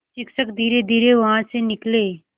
शिक्षक धीरेधीरे वहाँ से निकले